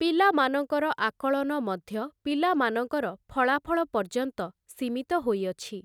ପିଲାମାନଙ୍କର ଆକଳନ ମଧ୍ୟ ପିଲାମାନଙ୍କର ଫଳାଫଳ ପର୍ପ୍ୟନ୍ତ ସୀମିତ ହୋଇଅଛି ।